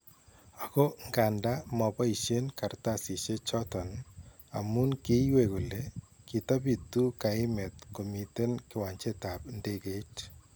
Ako nkandaa maboyisyeen kartasisyeek choton amuun kiiywei kole kitabituu kaimeet komiten kiwancheetab ndekeit